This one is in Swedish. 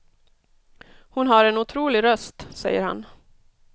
Hon har en otrolig röst, säger han.